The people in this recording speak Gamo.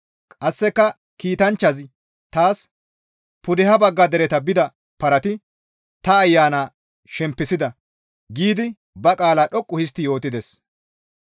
Qasseka kiitanchchazi taas, «Pudeha bagga dereta bida parati ta ayana shempisida» giidi ba qaala dhoqqu histti yootides.